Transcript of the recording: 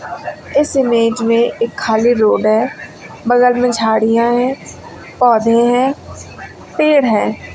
इस इमेज में एक खाली रोड है बगल में झाड़ियां हैं पौधे हैं पेड़ हैं।